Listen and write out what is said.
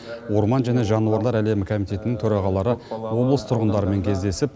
орман және жануарлар әлемі комитетінің төрағалары облыс тұрғындарымен кездесіп